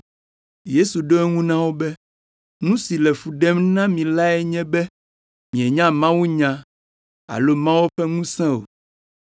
Yesu ɖo eŋu na wo be, “Nu si le fu ɖem na mi lae nye be mienya mawunya alo Mawu ƒe ŋusẽ o,